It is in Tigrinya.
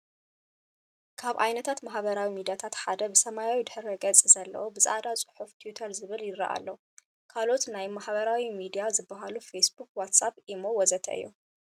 ካብ ዓይነታት ማሕበራዊ ሚድያታት ሓደ ብሰማያዊ ድሕረ-ገፅ ዘለዎ ብፃዕዳ ፅሑፍ ቲዊተር ዝብል ይረኣ ዘሎ። ካልኦት ናይ ማሕበራዊ ሚድያ ዝበሃሉ፦ ፌስ ቡኽ፣ ዋስኣብ፣ ኢሞ ወዘተ... እዮም።